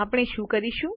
આપણે શું કરીશું